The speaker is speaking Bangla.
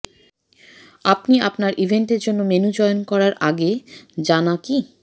আপনি আপনার ইভেন্টের জন্য মেনু চয়ন করার আগে জানা কি